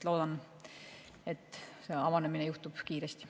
Loodan, et see avanemine juhtub kiiresti.